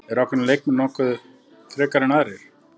Eru ákveðnir leikmenn notaðir frekar en aðrir?